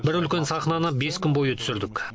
бір үлкен сахнаны бес күн бойы түсірдік